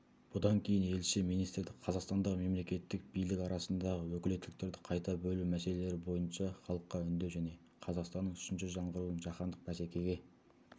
бұдан кейін елші министрді қазақстандағы мемлекеттік билік арасындағы өкілеттіктерді қайта бөлу мәселелері бойынша халыққа үндеу және қазақстанның үшінші жаңғыруы жаһандық бәсекеге